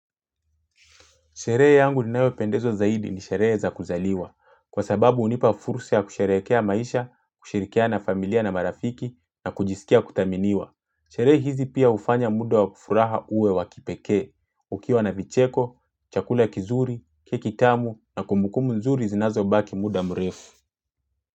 Sherehe yangu ninayopendezwa zaidi ni sherehe za kuzaliwa, kwa sababu hunipa fursa ya kusherehekea maisha, kushirikiana na familia na marafiki na kujisikia kudhaminiwa. Sherehe hizi pia hufanya muda wa ku furaha uwe wa kipekee, ukiwa na vicheko, chakula kizuri, keki tamu na kumbukumbu nzuri zinazobaki muda mrefu.